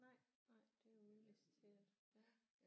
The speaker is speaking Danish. Nej nej det er udliciteret ja